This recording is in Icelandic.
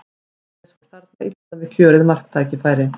Matthías fór þarna illa með kjörið marktækifæri.